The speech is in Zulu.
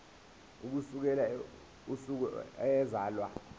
ukusukela usuku eyazalwa